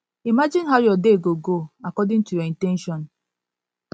imagine how your day go go according to your in ten tion